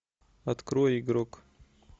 открой игрок